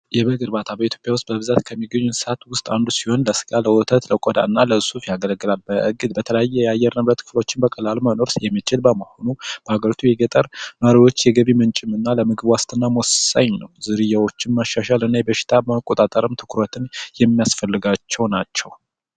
የበግ እርባታ በኢትዮጵያ ውስጥ ከሚገኙ የቤት እንስሳቶች አንደኛው ሲሆን የቆዳ እንዲሁም ለወተት የሚረባ ነው በተለያየ የአየር ንብረቶች ውስጥ መኖሪያ የሚችል በመሆኑ በሀገር ውስጥ የገጠር የገቢ ምንጭንና ነዋሪዎች የምግብ ዋስትና ወሳኝ ነው ዝርያዎችን ማሻሻልና በሽታ መቆጣጠር የሚያስፈልጋቸው ናቸው።